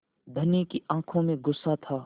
धनी की आँखों में गुस्सा था